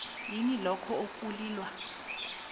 yini lokho ekulilwa